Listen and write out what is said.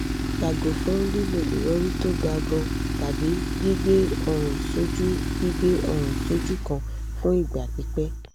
yago fun lilo irori to ga gan an tabi gbigbe orun soju gbigbe orun soju kan fun igba pipe